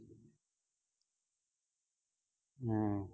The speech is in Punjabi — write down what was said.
ਹਮ